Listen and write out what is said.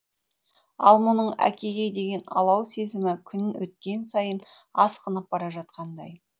ал мұның әкеге деген алау сезімі күн өткен сайын асқынып бара жатқандай